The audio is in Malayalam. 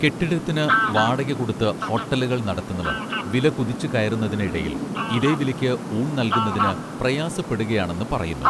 കെട്ടിടത്തിന് വാടക കൊടുത്ത് ഹോട്ടലുകൾ നടത്തുന്നവർ വില കുതിച്ചു കയറുന്നതിന് ഇടയിൽ ഇതേ വിലയ്ക്ക് ഊൺ നൽകുന്നതിന് പ്രയാസപ്പെടുകയാണെന്ന് പറയുന്നു